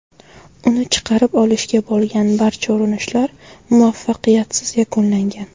Uni chiqarib olishga bo‘lgan barcha urinishlar muvaffaqiyatsiz yakunlangan.